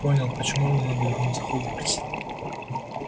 понял почему мне надо вернуться в хогвартс